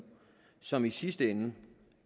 som i sidste ende